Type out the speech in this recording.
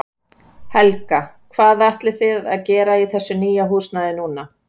Helga: Hvað ætlið þið að gera í þessu nýja húsnæði núna?